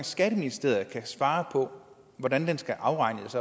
skatteministeriet kan svare på hvordan skal afregnes